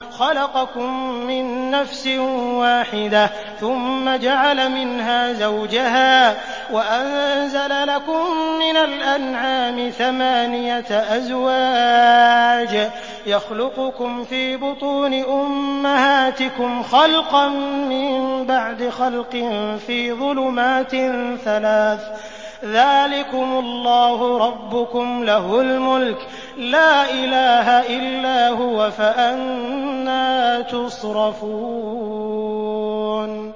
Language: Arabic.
خَلَقَكُم مِّن نَّفْسٍ وَاحِدَةٍ ثُمَّ جَعَلَ مِنْهَا زَوْجَهَا وَأَنزَلَ لَكُم مِّنَ الْأَنْعَامِ ثَمَانِيَةَ أَزْوَاجٍ ۚ يَخْلُقُكُمْ فِي بُطُونِ أُمَّهَاتِكُمْ خَلْقًا مِّن بَعْدِ خَلْقٍ فِي ظُلُمَاتٍ ثَلَاثٍ ۚ ذَٰلِكُمُ اللَّهُ رَبُّكُمْ لَهُ الْمُلْكُ ۖ لَا إِلَٰهَ إِلَّا هُوَ ۖ فَأَنَّىٰ تُصْرَفُونَ